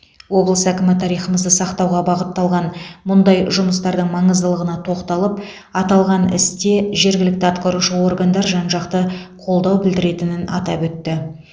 облыс әкімі тарихымызды сақтауға бағытталған мұндай жұмыстардың маңыздылығына тоқталып аталған істе жергілікті атқарушы органдар жан жақты қолдау білдіретінін атап өтті